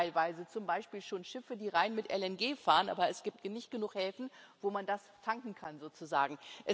Es gibt teilweise zum Beispiel schon Schiffe, die rein mit LNG fahren, aber es gibt nicht genug Häfen, wo man das tanken kann sozusagen.